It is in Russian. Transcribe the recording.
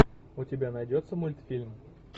у тебя найдется мультфильм